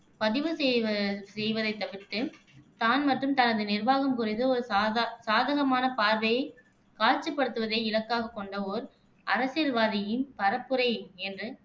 பதிவு செய்வ செய்வதைத் தவிர்த்து, தான் மற்றும் தனது நிர்வாகம் குறித்து ஒரு சாதா சாதகமான பார்வையை காட்சிப்படுத்துவதை இலக்காகக் கொண்ட ஓர் அரசியல்வாதியின் பரப்புரை என்று